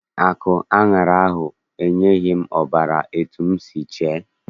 Akụ aṅara ahụ enyeghị m ọbara etu m si chee.